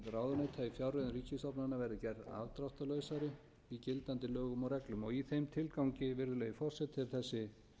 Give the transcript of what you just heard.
ráðuneyta á fjárreiðum ríkisstofnana verði gerð afdráttarlausari í gildandi lögum og reglum í þeim tilgangi virðulegi forseti er þessi